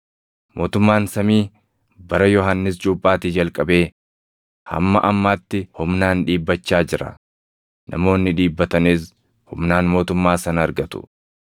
Mootummaan samii bara Yohannis Cuuphaatii jalqabee hamma ammaatti humnaan dhiibbachaa jira; namoonni dhiibbatanis humnaan mootummaa sana argatu.